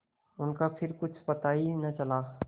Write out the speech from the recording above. उनका फिर कुछ पता ही न चला